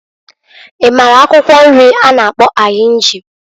I mara akwụkwọ nri a na-akpọ ahinji?